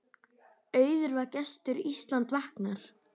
Auður var gestur Ísland vaknar.